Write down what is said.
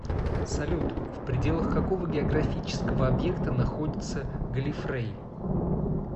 салют в пределах какого географического объекта находится галлифрей